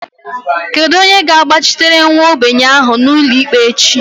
Kedu onye ga-agbachitere nwa ogbenye ahụ n'ụlọikpe echi?